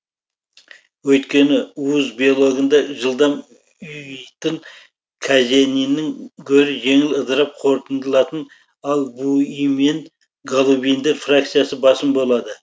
өйткені уыз белогында жылдам ұйыйтын казениннің гөрі жеңіл ыдырап қорытындылатын альбуин мен гобулиндер фракциясы басым болады